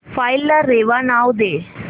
file ला रेवा नाव दे